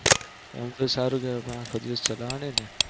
આમ તો સારું કેવાય પણ અખો દિવસ ચલાવાનું ને